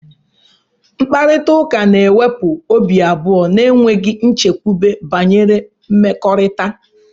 Mkparịta ụka na-ewepụ obi abụọ na enweghị nchekwube banyere mmekọrịta.